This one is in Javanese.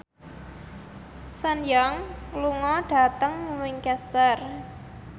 Sun Yang lunga dhateng Winchester